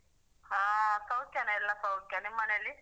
ಹಾ ಸೌಖ್ಯನ ಎಲ್ಲ ಸೌಖ್ಯ ನಿಮ್ಮ್ ಮನೆಯಲ್ಲಿ?